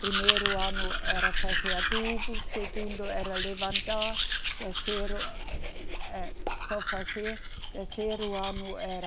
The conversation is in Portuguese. Primeiro ano era fazer adubo, segundo era levantar, terceiro eh, eh, só fazer, terceiro ano era